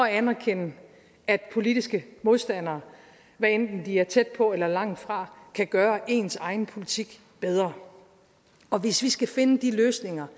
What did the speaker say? at anerkende at politiske modstandere hvad enten de er tæt på eller langt fra kan gøre ens egen politik bedre hvis vi skal finde de løsninger